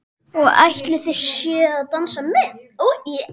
Og ætlið þið að dansa með?